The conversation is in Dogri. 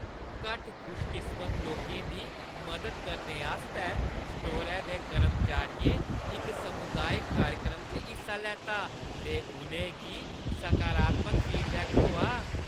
घट्ट खुशकिस्मत लोकें दी मदद करने आस्तै स्टोरै दे कर्मचारियें इक सामुदाई कार्यक्रम च हिस्सा लैता ते उ'नें गी सकारात्मक फीडबैक थ्होआ।